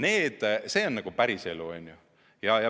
See on päris elu.